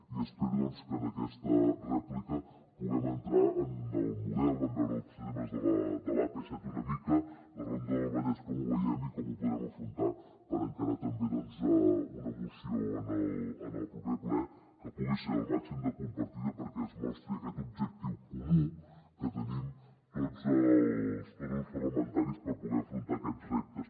i espero doncs que en aquesta rèplica puguem entrar en el model en veure els temes de l’ap set una mica la ronda del vallès com ho veiem i com ho podrem afrontar per encarar també doncs una moció en el proper ple que pugui ser el màxim de compartida perquè es mostri aquest objectiu comú que tenim tots els grups parlamentaris per poder afrontar aquests reptes